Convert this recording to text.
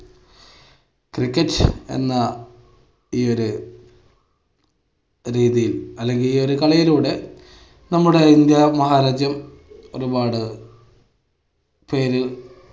cricket എന്ന ഈയൊരു രീതിയിൽ അല്ലെങ്കിൽ ഈയൊരു കളിയിലൂടെ നമ്മുടെ ഇന്ത്യ മഹാരാജ്യം ഒരുപാട് പേര്